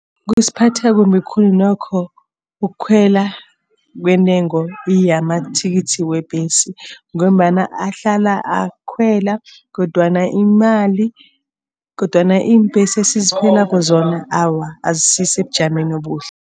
Kusiphatha kumbi khulu nokho ukukhwela kwentengo yamathikithi webhesi. Ngombana ahlala akhwela kodwana imali kodwana iimbhesi esizikhwelako zona awa asisebujamweni obuhle.